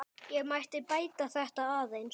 Ég mætti bæta þetta aðeins.